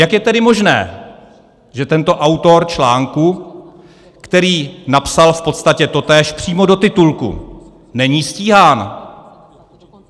Jak je tedy možné, že tento autor článku, který napsal v podstatě totéž přímo do titulku, není stíhán?